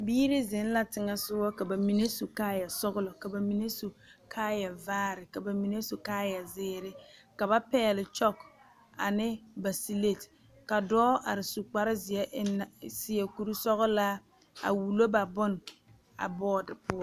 Biiri zeŋ la teŋɛ sɔŋɔ, ka bamine su kaaya sɔglɔ, ka bamine su kaaya vaare, ka bamine su kaaya zeere, ka ba pɛgle 'chalk' ane 'slate' ka dɔɔ are su kpare zeɛ, su kuri sɔglaa, a wullo ba bone bɔɔte poɔ.